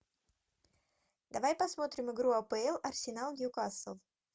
давай посмотрим игру апл арсенал ньюкасл